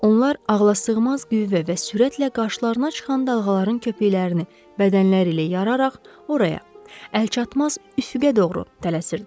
Onlar ağlasığmaz qüvvə və sürətlə qarşılarına çıxan dalğaların köpüklərini bədənləri ilə yararaq oraya, əlçatmaz üfüqə doğru tələsirdilər.